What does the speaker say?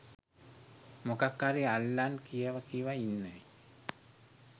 මොකක් හරි අල්ලන් කියව කියව ඉන්න.